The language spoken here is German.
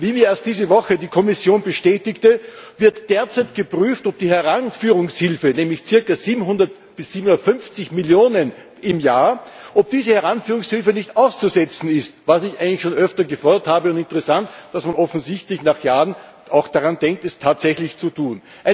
Wie mir erst diese Woche die Kommission bestätigte, wird derzeit geprüft, ob die Heranführungshilfe, nämlich circa 700 bis 750 Millionen im Jahr, nicht auszusetzen ist, was ich eigentlich schon öfter gefordert habe. Interessant, dass man offensichtlich nach Jahren auch daran denkt, es tatsächlich zu tun.